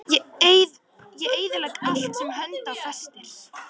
Ég eyðilegg allt sem hönd á festir.